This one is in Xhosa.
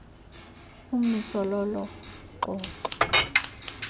umiso lolo xoxo